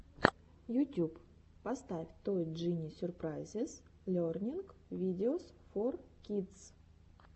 ютюб поставь той джини сюрпрайзес лернинг видеос фор кидс